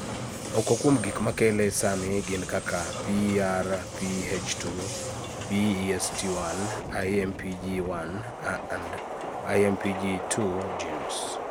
Moko kuom gik makele sani gin kaka PRPH2, BEST1, IMPG1, and IMPG2 genes.